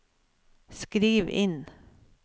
skriv inn